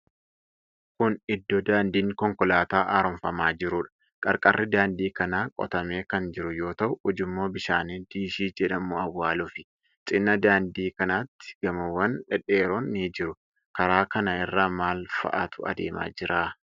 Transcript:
Kun iddoo daandiin konkolaataa haaromfamaa jiruudha. Qarqarri daandii kanaa qotamee kan jiru yoo ta'u ujummoo bishaanii diishii jedhamu awwaalufi. Cinaa daandii kanaatti gamoowwan dhedheeroon ni jiru. Karaa kana irra maal fa'aatu adeemaa jira?